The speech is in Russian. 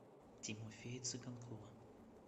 тимофея цыганкова